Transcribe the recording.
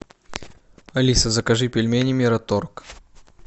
алиса закажи пельмени мираторг